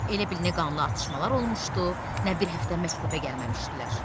Elə bil nə qanlı atışmalar olmuşdu, nə bir həftə məktəbə gəlməmişdilər.